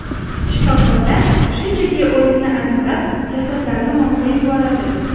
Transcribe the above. Shifokorlar shunchaki o‘limni aniqlab jasadlarni morgga yuboradi.